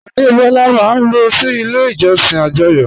Adebọ́lá máa n lọ sí ilẹ̀ ìjọ̀ṣìn ajóyò